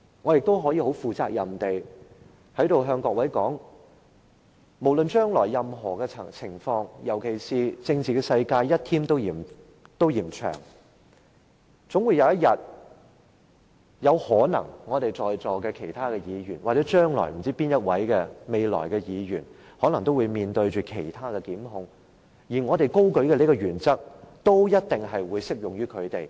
我可以很負責任地在此對各位說，無論將來情況如何，尤其在政治世界，一天都嫌長的情況下，在席的其他議員或任何一位議員將來有一天可能都會面對其他檢控，我們今天高舉的這項原則都一定會適用於他們。